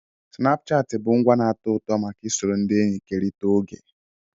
Snapuchati bụ ngwa na-atọ ụtọ maka isoro ndị enyi kerịta oge.